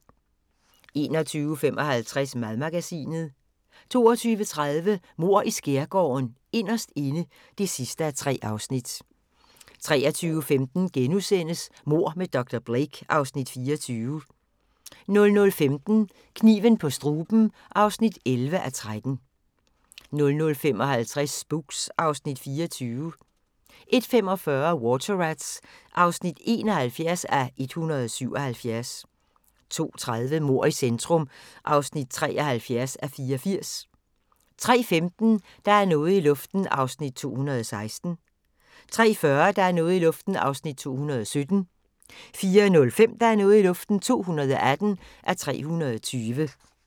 21:55: Madmagasinet 22:30: Mord i Skærgården: Inderst inde (3:3) 23:15: Mord med dr. Blake (Afs. 24)* 00:15: Kniven på struben (11:13) 00:55: Spooks (Afs. 24) 01:45: Water Rats (71:177) 02:30: Mord i centrum (73:84) 03:15: Der er noget i luften (216:320) 03:40: Der er noget i luften (217:320) 04:05: Der er noget i luften (218:320)